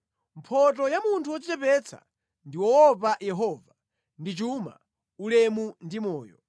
Mphotho ya munthu wodzichepetsa ndi woopa Yehova ndi chuma, ulemu ndi moyo.